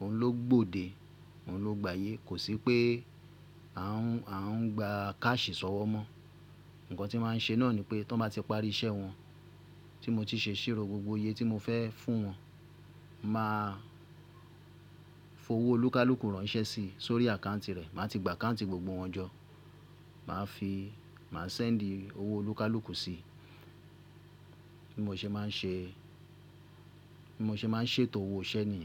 òun ló gbòde, òun ló gbà ayé. Kò sí pé a ń, a ń gba caṣhi sọ̀wọ́ mọ́. Ǹkan tí màá ń ṣe náà ni pé tó bá ti parí iṣẹ́ wọn, tí mo ti ṣe ìṣirò gbogbo iye tí mo fẹ́ fún wọn, màá fowó olúkúlùkù ránṣẹ́ sí, sórí àkáùntì rẹ̀. Màá ti gba àkáùntì gbogbo wọn jọ. Màá fi, màá sẹ́ǹdì owó olúkúlùkù sí i. Bí mo ṣe máa ń ṣe, bí mo ṣe máa ń ṣètò owó iṣẹ́ ni.